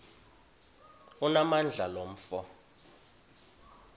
onamandla lo mfo